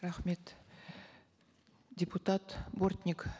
рахмет депутат бортник